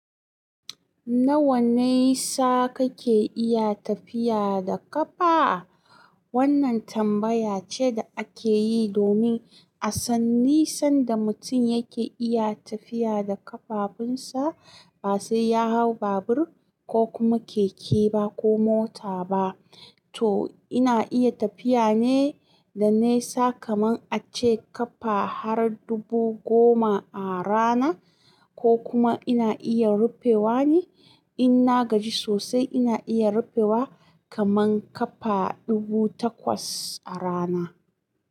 Nawa nisa kake iya tafiya da ƙafa? Wannan tambaya ce da ake yi domin a san nisan da mutum yake iya tafiya da ƙafafunsa ba sai ya hau babur ko kuma keke ba ko mota ba. To ina iya tafiya ne da nesa kamar a ce ƙafa har dubu goma a rana ko kuma ina iya rufewa ne in na gaji sosai ina iya rufewa kaman ƙafa dubu takwas a rana.